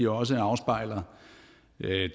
også afspejler